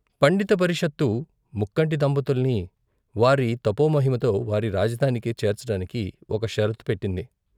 పండిత పరిషత్తు ముక్కంటి దంపతుల్ని వారి తపోమహిమతో వారి రాజధానికి చేర్చటానికి ఒక షరతు పెట్టింది.